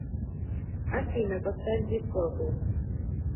афина поставь дип перпл